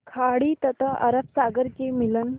खाड़ी तथा अरब सागर के मिलन